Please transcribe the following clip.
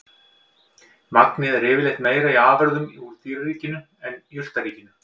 Magnið er yfirleitt meira í afurðum úr dýraríkinu en jurtaríkinu.